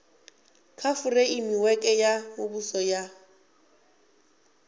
kha fureimiweke ya muvhuso ya